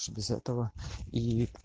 что без этого ии